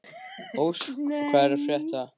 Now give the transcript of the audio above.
Ósk, hvað er að frétta?